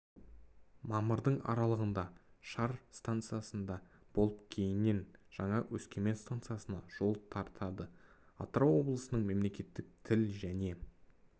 мамырдың аралығында шар станциясында болып кейіннен жаңа өскемен станциясына жол тартады атырау облысының мемлекеттік тіл және